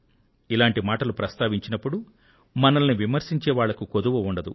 ఇలాంటి మాటలు ప్రస్తావించినప్పుడు మనల్ని విమర్శించే వాళ్లకు కొదువ ఉండదు